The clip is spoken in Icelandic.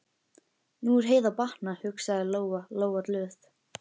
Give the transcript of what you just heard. Nú er Heiðu að batna, hugsaði Lóa Lóa glöð.